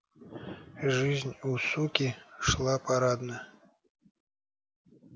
жизнь у суки шла парадно